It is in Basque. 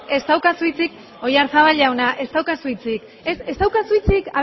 ez daukazu hitzik oyazarbal jauna ez daukazu hitzik aber